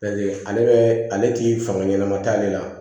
ale bɛ ale ti fanga ɲanama t'ale la